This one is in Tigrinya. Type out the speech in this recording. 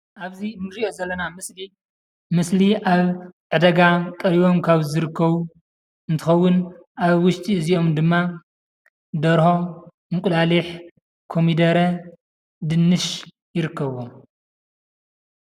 ኣብዚ እንርእዮ ዘለና ምስሊ ምስሊ ኣብ ዕዳጋ ቀርበም ካብ ዝርከቡ እንትኸውን ኣብ ውሽጢ እዝይኦም ድማ ደርሆ፣ እንቁላሊሕ፣ ኮሚደረ ፣ድንሽ ይርከብዎም።